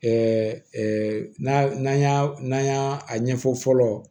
n'a n'an y'a n'an y'a a ɲɛfɔ fɔlɔ